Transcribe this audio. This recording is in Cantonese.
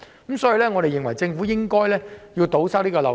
因此，我們認為政府應該堵塞這個漏洞。